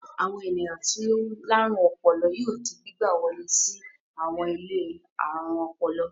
Àwọn ènìyàn tí ó láárùn ọpọlọ yóò di gbígbà wọlé sí àwọn ilé alárùn ọpọlọ.